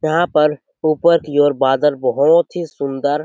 यहाँ पर ऊपर की ओर बादल बहुत सारे सुंदर--